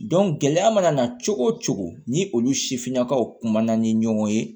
gɛlɛya mana na cogo o cogo ni olu sifinnakaw kumana ni ɲɔgɔn ye